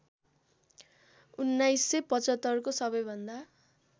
१९७५ को सबैभन्दा